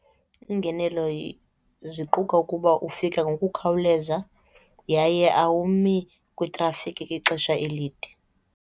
Iingenelo ziquka ukuba ufika ngokukhawuleza yaye awumi kwitrafikhi ixesha elide.